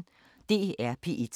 DR P1